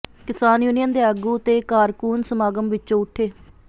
ਕਿਸਾਨ ਯੂਨੀਅਨ ਦੇ ਆਗੂ ਤੇ ਕਾਰਕੁਨ ਸਮਾਗਮ ਵਿੱਚੋਂ ਉਠੇ